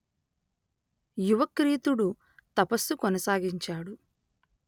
యువక్రీతుడు తపస్సు కొనసాగించాడు